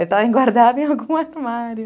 guardada em algum armário.